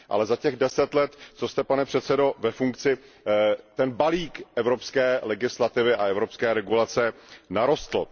Ale za těch 10 let, co jste, pane předsedo, ve funkci, ten balík evropské legislativy a evropské regulace narostl.